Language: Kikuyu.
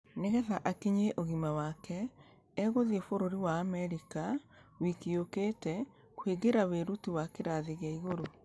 Nĩgetha akinyie ũgima wake kwiri agũthie bũrũri wa america wiki ĩũkĩte kũingĩra wĩruti wa kĩrathi gĩa igũrũ.